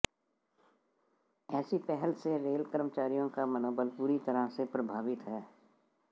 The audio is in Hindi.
ऐसी पहल से रेल कर्मचारियों का मनोबल बुरी तरह से प्रभावित है